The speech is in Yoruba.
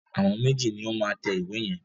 Àwọn méjì ni ó máa tẹ ìwé yẹn.